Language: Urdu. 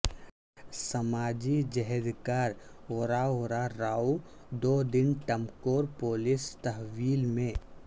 سماجی جہد کار ورا ورا راو دو دن ٹمکور پولیس تحویل میں